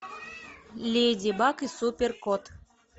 леди баг и супер кот